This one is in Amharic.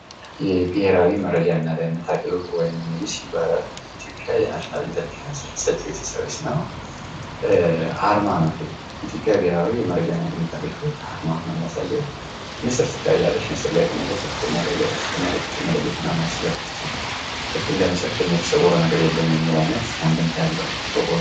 የብሔራዊ መረጃና ደህንነት አገልግሎት ወይም ኒስ ይባላል። የኢትዮጵያ ናሽናል ኢንተሊጀንስ ኤንድ ሴኩሪቲ ሰርቪስ ነው። አርማ ነው ይሄ የኢትዮጵያ የብሔራዊ መረጃና ደህንነት አገልግሎት አርማ ነው የሚያሳየው ንስር ትታያለች ንስር ደግሞ በከፍተኛ ደረጃ ጥቃቅን ነገሮችን መለየትና መያዝ ስለምትችል ልክ እንደ ንስር ከኛ የተሰወረ ነገር የለም የሚል አይነት አንድምታ ያለው።